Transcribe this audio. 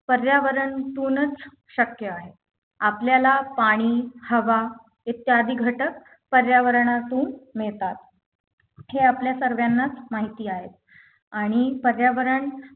पर्यावरणतूनच शक्य आहे आपल्याला पाणी हवा इत्यादी घटक पर्यावरणातून मिळतात हे आपल्या सर्वांनाच माहिती आहे आणि पर्यावरण